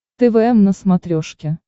твм на смотрешке